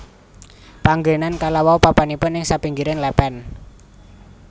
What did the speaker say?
Panggénan kalawau papanipun ing sapinggiring lèpèn